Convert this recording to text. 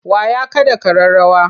Wa ya kaɗa ƙararrawa?